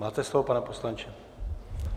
Máte slovo, pane poslanče.